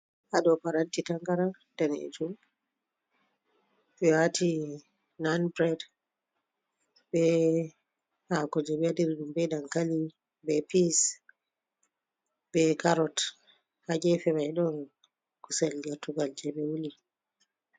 Haɗoo paranti taangaram daneejum ɓe waati nan bireed, be haako jee ɓe waɗiriɗum.Be dankali be piss be karot. Ha gefemai ɗon kuusel gertuugal je ɓewuuli.